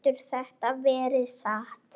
Getur þetta verið satt?